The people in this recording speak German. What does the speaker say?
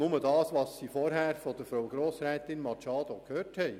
Sie wissen lediglich, was Sie vorhin von Grossrätin Machado Rebmann gehört haben.